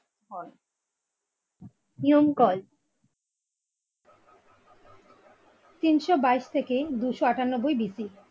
তিনশো বাইশ থেকে দুশ আটানব্বই। BC